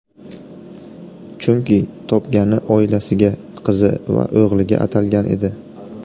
Chunki, topgani oilasiga, qizi va o‘g‘liga atalgan edi.